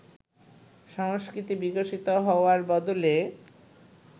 সংস্কৃতি বিকশিত হওয়ার বদলে